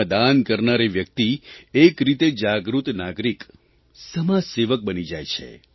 તેમાં દાન કરનારી વ્યક્તિ એક રીતે જાગૃત નાગરિક સમાજસેવક બની જાય છે